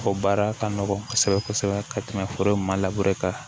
O baara ka nɔgɔn kosɛbɛ kosɛbɛ ka tɛmɛ foro in ma kan